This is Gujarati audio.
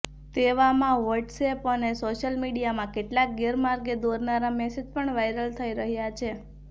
તેવામાં વ્હોટ્સએપ અને સોશિયલ મીડિયામાં કેટલાક ગેરમાર્ગે દોરનારા મેસેજ પણ વાયરલ થઈ રહ્યાં છે